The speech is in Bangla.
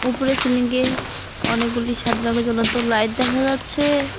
ওফরের সিলিংয়ে অনেকগুলি সাদা রগের জ্বলন্ত লাইট দেখা যাচ্ছে।